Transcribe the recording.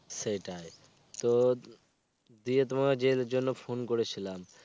সেটাই, তো দিয়ে তোমায় যে জন্য phone করেছিলাম.